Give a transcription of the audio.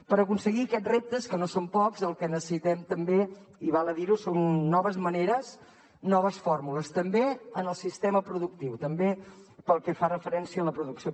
per aconseguir aquests reptes que no són pocs el que necessitem també i val a dir ho són noves maneres noves fórmules també en el sistema productiu també pel que fa referència a la producció